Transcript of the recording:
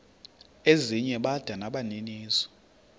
ezinye bada nabaninizo